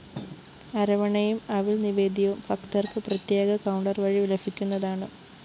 അരവണയും അവില്‍ നിവേദ്യവും ഭക്തര്‍ക്ക് പ്രത്യേക കൌണ്ടർ വഴി ലഭിക്കുന്നതാണ്